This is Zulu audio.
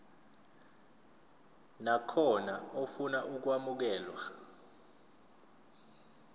nakhona ofuna ukwamukelwa